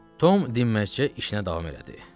Tom dinməzcə işinə davam elədi.